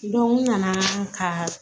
u nana ka